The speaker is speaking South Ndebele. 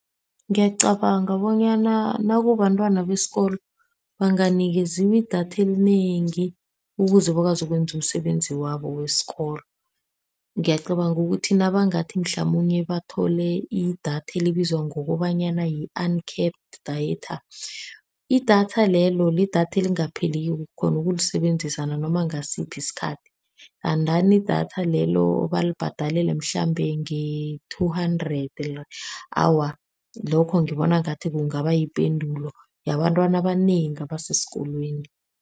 Ngiyacabanga bonyana nakubantwana besikolo, banganikeziwa idatha elinengi ukuze bakwazi ukwenza umsebenzi wabo wesikolo. Ngiyacabanga ukuthi nabangathi mhlamunye bathole idatha elibizwa ngokobanyana yi-uncapped data. Idatha lelo lidatha elingapheliko, ukghona ukulisebenzisa nanoma ngasiphi isikhathi. And then idatha lelo balibhadalele mhlambe nge-two hundred. Awa, lokho ngibona ngathi kungaba yipendulo yabantwana abanengi abasesikolweni.